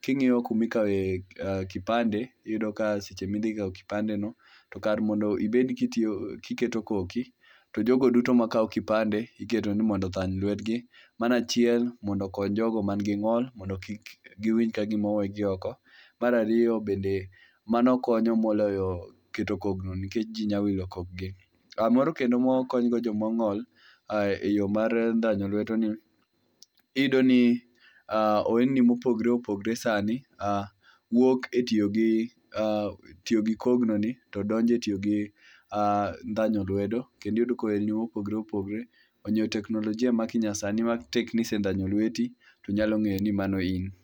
king'iyo kuma ikawe kipande iyudo ka seche ma idhi kawo kipandeno to kar mondo ibed ka itiyo kiketo koki to jogo duto makawo kipande ieto mondo ondhany lwetgi mano achiel mondo okony jogo man gi ng'ol mondo kik giwinj kagima owegi oko. Mar ariyo, bende mano konyo moloyo keto kogno nikech ji nyalo wilo kokgi. Moro kendo mokonygo joma ong'ol eyor mar ndhanyo lwedoni iyudo ni oolni mopogre opogre sani wuok e tiyo gi tiyo gi kognoni to donjo e tiyo gi ndhanyo lwedo kendo iyud ni ohelni mopogre opogre omiyo teknolojia ma nyasani ma tek ni se ndhanyo lweti nyalo ng'eyo ni mano in.